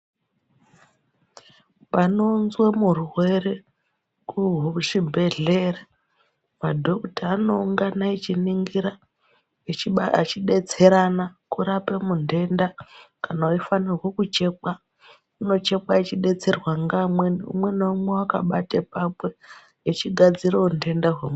Panounzwe murwere kuchibhedhlera madokuta anoungana echiningira chibaire ,echibetserana kurape mutenda. Kana veifanirwa kuchekwa unochekwa achibetserwa ngeamweni umwe naumwe akabate pakwe echigadziravo nhenda